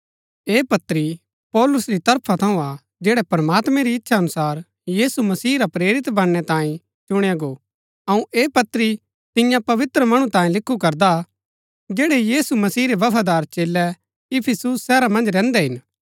ऐह पत्री पौलुस री तरफा थऊँ हा जैड़ा प्रमात्मैं री इच्छा अनुसार यीशु मसीह रा प्रेरित बनणै तांये चुणया गो अऊँ ऐह पत्री तिन्या पवित्र मणु तांये लिखु करदा जैड़ै यीशु मसीह रै बफादार चेलै इफिसुस शहरा मन्ज रैहन्दै हिन